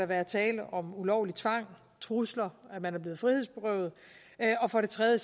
være tale om ulovlig tvang trusler at man er blevet frihedsberøvet og for det tredje